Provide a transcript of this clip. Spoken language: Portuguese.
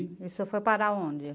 E senhor foi para onde?